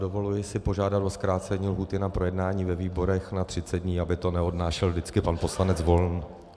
Dovoluji si požádat o zkrácení lhůty na projednání ve výborech na 30 dní, aby to neodnášel vždycky pan poslanec Volný.